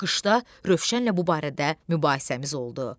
Qışda Rövşənlə bu barədə mübahisəmiz oldu.